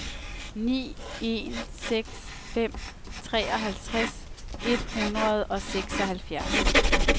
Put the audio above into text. ni en seks fem treoghalvtreds et hundrede og seksoghalvfjerds